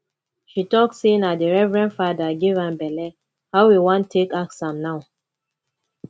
she talk sey na di reverend fada give am belle how we wan take ask am now